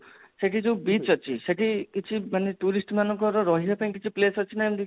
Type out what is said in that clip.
ସେଠି ଯଉ beach ଅଛି ସେଠି ଯଉ ସେଠି କିଛି ମାନେ tourist ମାନଙ୍କର ରହିବା ପାଇଁ କିଛି place ଅଛି ନା ଏମତି